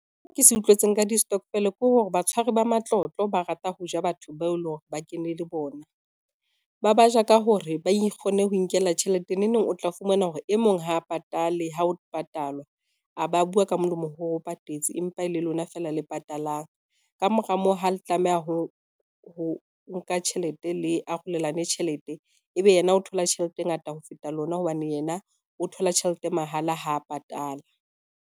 Ke se utlwetseng ka di-stokvel ke hore batshwari ba matlotlo ba rata ho ja batho bao e leng hore ba kene le bona. Ba baja ka hore ba kgone ho inkela tjhelete neneng o tla fumana hore e mong ha a patale ha o patalwa, a ba bua ka molomo ho re o patetse, empa e le lona feela le patalang. Ka mora moo ha le tlameha ho nka tjhelete le arolelane tjhelete, ebe yena o thola tjhelete e ngata ho feta lona hobane yena o thola tjhelete mahala, ha patala.